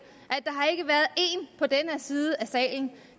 at der her side af salen